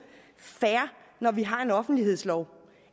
fair når vi har en offentlighedslov